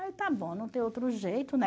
está bom, não tem outro jeito, né?